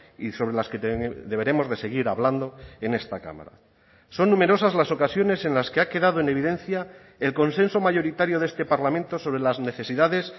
y sobre las que deberemos de seguir hablando en esta cámara son numerosas las ocasiones en las que ha quedado en evidencia el consenso mayoritario de este parlamento sobre las necesidades